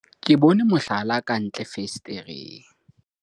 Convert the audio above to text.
ke bone mohlala ka ntle fensetereng